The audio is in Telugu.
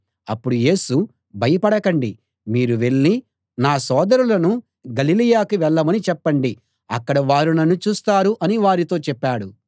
అప్పుడు యేసు భయపడకండి మీరు వెళ్ళి నా సోదరులను గలిలయకి వెళ్ళమని చెప్పండి అక్కడ వారు నన్ను చూస్తారు అని వారితో చెప్పాడు